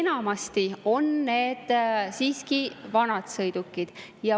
Enamasti on need siiski vanad sõidukid.